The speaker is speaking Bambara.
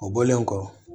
O bɔlen kɔ